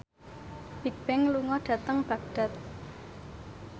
Bigbang lunga dhateng Baghdad